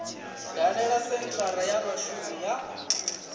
dalele senthara ya vhashumi ya